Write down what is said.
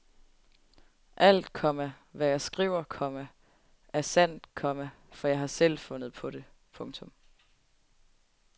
Alt, komma hvad jeg skriver, komma er sandt, komma for jeg har selv fundet på det. punktum